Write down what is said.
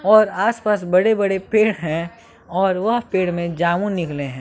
और आस पास बड़े बड़े पेड़ है और वह पेड़ में जामुन निकले हैं।